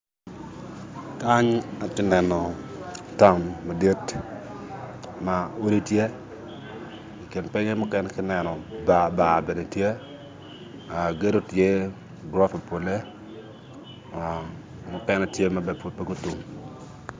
Kany tye ka neno taun madit ma olo tye i kin pinye ka i neno bar bar bene tye gedo tye gorofa pole mukene tye ma pud peya gutum